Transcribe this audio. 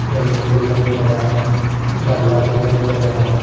जमीन दिखाई दे रहा है गमला दिखाई दे रहा है।